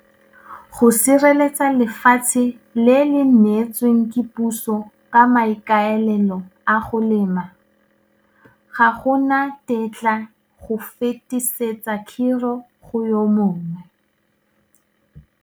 Go sireletsa lefatshe le le neetsweng ke puso ka maikaelelo a go lema, ga go na tetla go fetisetsa khiro go yo mongwe.